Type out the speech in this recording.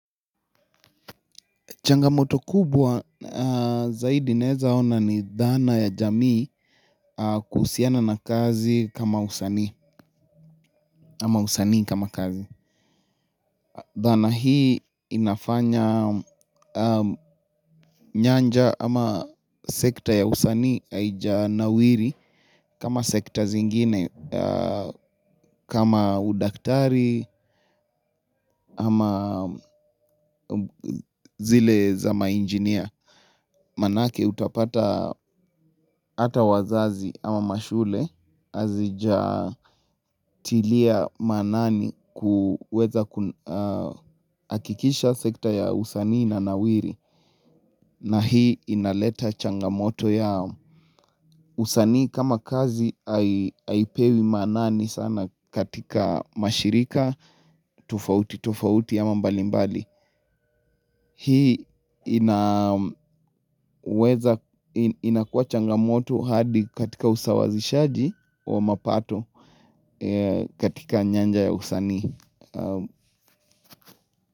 Changamoto kubwa zaidi naweza ona ni dhana ya jamii kuhusiana na kazi kama usanii, ama usanii kama kazi. Dhana hii inafanya nyanja ama sekta ya usanii haijanawiri kama sekta zingine kama udaktari ama zile za mainjinia. Maanake utapata hata wazazi ama mashule hazijatilia maanani kuweza hakikisha sekta ya usanii inanawiri na hii inaleta changamoto yao usanii kama kazi haipewi maanani sana katika mashirika tofauti tofauti ama mbalimbali. Hii inaweza inakuwa changamoto hadi katika usawazishaji wa mapato katika nyanja ya usanii.